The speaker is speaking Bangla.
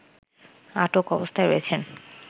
আটক অবস্থায় রয়েছেন